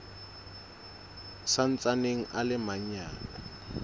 sa ntsaneng a le manyane